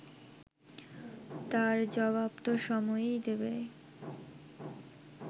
তার জবাবতো সময়ই দেবে